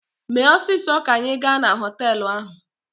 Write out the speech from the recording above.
Mee ọsịsọ ka anyị gaa na họtelụ ahụ!